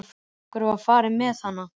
Af hverju var farið með hana?